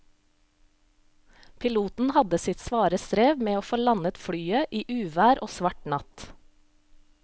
Piloten hadde sitt svare strev med å få landet flyet i uvær og svart natt.